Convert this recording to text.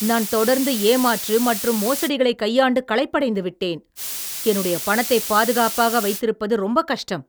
நான் தொடர்ந்து ஏமாற்று மற்றும் மோசடிகளை கையாண்டு களைப்படைந்து விட்டேன். என்னுடைய பணத்தைப் பாதுகாப்பாக வைத்திருப்பது ரொம்பக் கஷ்டம்.